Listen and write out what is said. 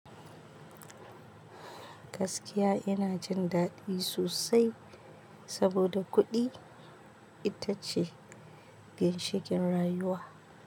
Gaskiya ina jindaɗi sosai saboda kuɗi ita ce ginshiƙin rayuwa.